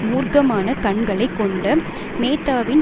மூர்க்கமான கண்களை கொண்ட மேத்தாவின்